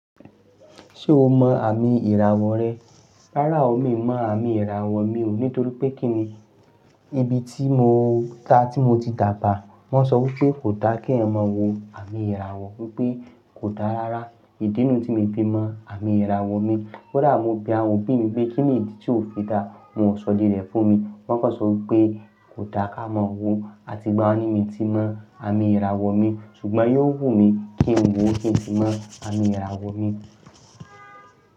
Ṣé o mọ àmì ìràwọ̀ rẹ? Rárá o, mi ò mọ àmì ìràwọ̀ mi o nítorí pé kí ni? Ibi tí mo ta tí mo ti dà bà, wọ́n sọ wípé kò dá kí ẹ mọ̀ wo àmì ìràwọ̀. Mo wípé kò dá rara. Ìdinù tí mi fi mọ àmì ìràwọ̀ mi. Koda mo bẹ àwọn òbí mi pé kíni ìdí tí o fi dá, wọn ò sọ idi rẹ fún mi. Wọ́n kọ sọ wípé kò dá ká mọ̀ wo àti ìgbà wo ni èmi ti mọ àmì ìràwọ̀ mi, ṣùgbọ́n yóò wù mí kí n wọ kìí ń sí tí mọ àmì ìràwọ̀ mi.